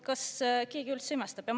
Kas keegi üldse imestab?